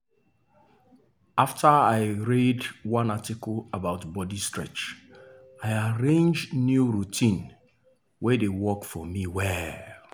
after i read one article about body stretch i arrange new routine wey dey work for me well.